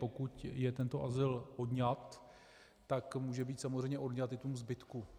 Pokud je tento azyl odňat, tak může být samozřejmě odňat i tomu zbytku.